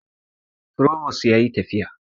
Frobos yayi tafiya